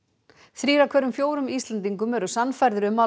þrír af hverjum fjórum Íslendingum eru sannfærðir um að